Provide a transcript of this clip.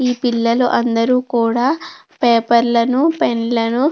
ఈ పిల్లలందరూ కూడా పేపర్లను పెన్నులను --